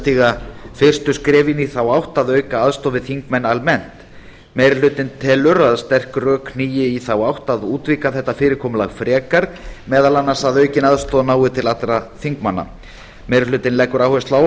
stíga fyrstu skrefin í þá átt að auka aðstoð við þingmenn almennt meiri hlutinn telur að sterk rök hnígi í þá átt að útvíkka þetta fyrirkomulag frekar meðal annars að aukin aðstoð nái til allra þingmanna meiri hlutinn leggur áherslu á að